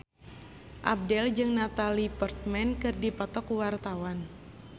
Abdel jeung Natalie Portman keur dipoto ku wartawan